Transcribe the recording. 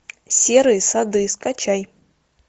серые сады скачай